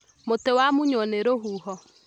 Mũtĩ wamunywo nĩ rũhuho